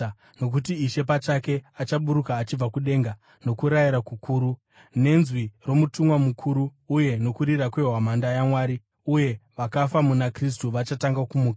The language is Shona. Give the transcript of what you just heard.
Nokuti Ishe pachake achaburuka achibva kudenga, nokurayira kukuru, nenzwi romutumwa mukuru uye nokurira kwehwamanda yaMwari, uye vakafa muna Kristu vachatanga kumuka.